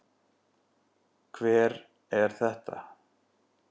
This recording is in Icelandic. Hver er þetta?